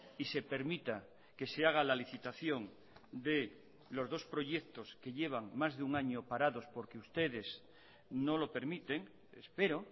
y se permita que se haga la licitación de los dos proyectos que llevan más de un año parados porque ustedes no lo permiten espero